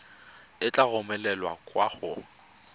e tla romelwa kwa go